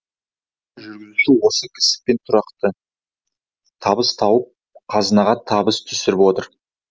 соншама жүргізуші осы кәсіппен тұрақты табыс тауып қазынаға табыс түсіріп отыр